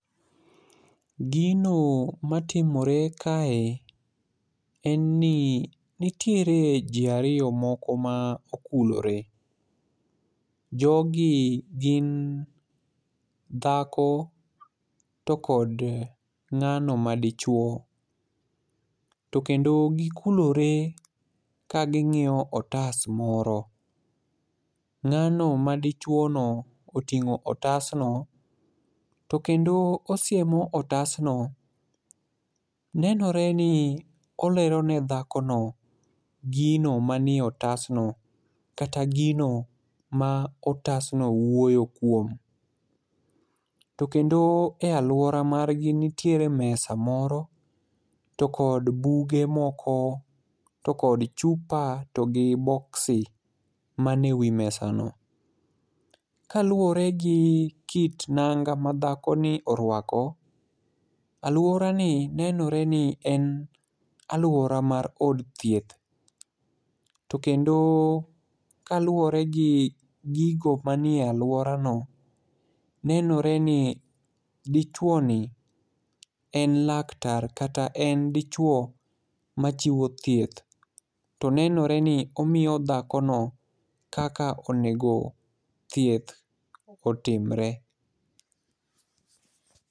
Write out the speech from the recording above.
Gino matimore kae en ni nitiere ji ariyo moko ma okulore. Jogi gin dhako to kod ng'ano madichuwo, to kendo gikulore ka ging'iyo otas moro. Ng'ano madichuwono oting'o otasno, to kendo osiemo otasno. Nenore ni olero ne dhakono gino manie otasno kata gino ma otasno wuoyo kuom, to kendo e alwora margi nitiere mesa moro to kod buge moko to kod chupa to gi boksi mane wi mesano. Kaluwore gi kit nanga ma dhakoni orwako, alworani nenore ni en alwora mar od thieth, to kendo kaluwore gi gigo manie alworano, nenore ni dichuwoni en laktar kata en dichuwo machiwo thieth, to nenore ni omiyo dhakono kaka onego thieth otimre.